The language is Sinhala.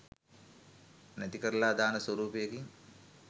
නැතිකරලා දාන ස්වරූපයකින්.